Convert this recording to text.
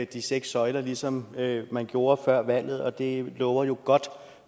de seks søjler ligesom man gjorde før valget og det lover jo godt